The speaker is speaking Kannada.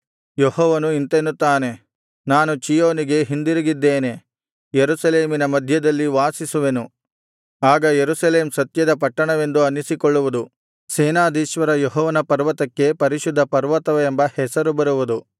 ಯೆಹೋವನು ಇಂತೆನ್ನುತ್ತಾನೆ ನಾನು ಚೀಯೋನಿಗೆ ಹಿಂದಿರುಗಿದ್ದೇನೆ ಯೆರೂಸಲೇಮಿನ ಮಧ್ಯದಲ್ಲಿ ವಾಸಿಸುವೆನು ಆಗ ಯೆರೂಸಲೇಮ್ ಸತ್ಯದ ಪಟ್ಟಣವೆಂದು ಅನ್ನಿಸಿಕೊಳ್ಳುವುದು ಸೇನಾಧೀಶ್ವರ ಯೆಹೋವನ ಪರ್ವತಕ್ಕೆ ಪರಿಶುದ್ಧ ಪರ್ವತವೆಂಬ ಹೆಸರು ಬರುವುದು